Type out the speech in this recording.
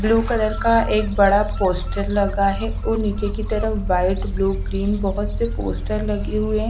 Blue colour का एक बड़ा पोस्टर लगा है औ नीचे की तरफ व्हाइट ब्लू ग्रीन बहोत से पोस्टर लगे हुए हैं।